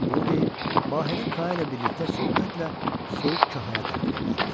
Bunu deyib, Bahirə Ka ilə birlikdə sürətlə Soyuq kahaya tərəf yollandı.